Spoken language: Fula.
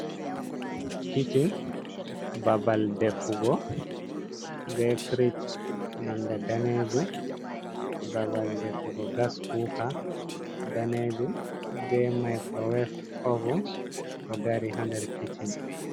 Kisshin babal defugo be firish nonɗe danejum babal ɗefugo gas kuka danejum be microwef ovum ɗo dari ha nder kicchin.